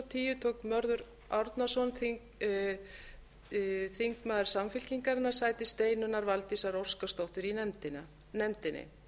tíu tók mörður árnason þingmaður samfylkingarinnar sæti steinunnar valdísar óskarsdóttur í nefndinni